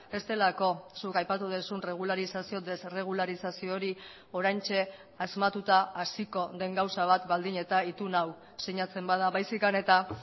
ez delako zuk aipatu duzun regularizazio desregularizazio hori oraintxe asmatuta hasiko den gauza bat baldin eta itun hau sinatzen bada baizik eta